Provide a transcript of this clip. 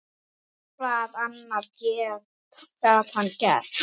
Hvað annað gat hann gert?